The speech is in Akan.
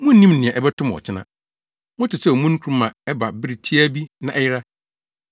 Munnim nea ɛbɛto mo ɔkyena. Mote sɛ omununkum a ɛba bere tiaa bi na ɛyera.